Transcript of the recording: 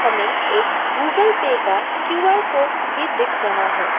में एक Google Pay का क्यू_आर कोड भी दिख रहा है।